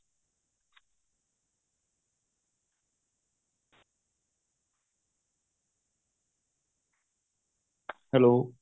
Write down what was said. hello